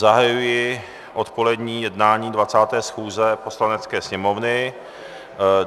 Zahajuji odpolední jednání 20. schůze Poslanecké sněmovny.